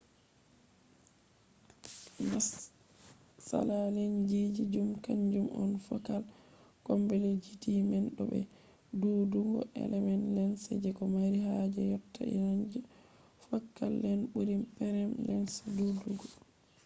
matsala lensji zum kanjum on fokal komplekzity man bo be ɗuuɗugo element lens je ko mari haaje yotta renj fokal lent ɓuri praim lens ɗuɗugo